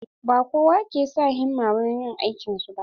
Ba kowa ke sa himma wurin yin aikin su ba.